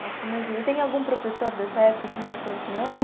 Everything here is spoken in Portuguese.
Nossa, imagina, e tem algum professor dessa época que marcou a senhora?